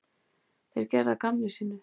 Þeir gerðu að gamni sínu.